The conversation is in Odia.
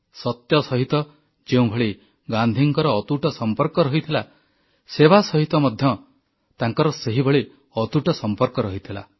ସତ୍ୟ ସହିତ ଯେଉଁଭଳି ଗାନ୍ଧୀଙ୍କର ଅତୁଟ ସମ୍ପର୍କ ରହିଥିଲା ସେବା ସହିତ ମଧ୍ୟ ଗାନ୍ଧୀଙ୍କର ସେହିଭଳି ଅତୁଟ ସମ୍ପର୍କ ରହିଥିଲା